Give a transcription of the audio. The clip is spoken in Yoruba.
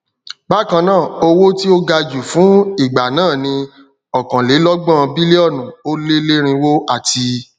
bákannáà owó tí o gaju fun ìgbà náà ni okanlelogbọn bílíọnù o leerinwo ati